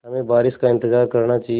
हमें बारिश का इंतज़ार करना चाहिए